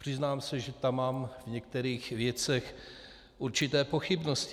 Přiznám se, že tam mám v některých věcech určité pochybnosti.